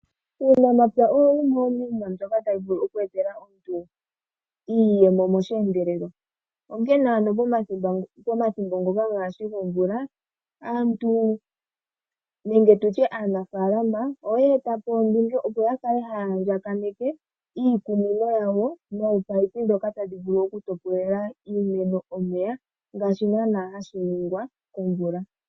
Uunamapya owo wumwe womiinima mbyoka tayi vulu okweetela omuntu iiyemo meendelelo. Onkee ano pomathimbo ngoka gaashi gomvula, aantu nenge tutye aanafalama oye eta po ondunge opo ya kale haya andjakaneke iikunino yawo noopaipi ndhoka tadhi vulu oku topolela iimeno omeya ngaashi naanaa hashi ningwa komvula.